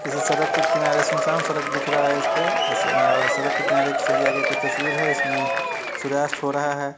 किसी सड़क के किनारे सुनसान सड़क दिख रहा है इस पे अ और सड़क के किनारे एक सलीया के कुछ तस्वीर है इसमें सूर्यास्त हो रहा है।